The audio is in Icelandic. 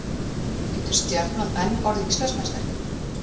Getur Stjarnan enn orðið Íslandsmeistari?